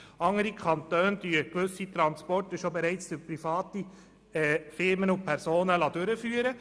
Andere Kantone lassen gewisse Transporte bereits durch private Firmen und Personen durchführen.